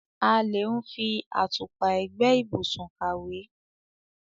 A le ń fi àtùpà ẹ̀gbẹ́ ìbùsùn kàwé.